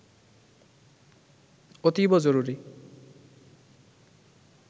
অতীব জরুরি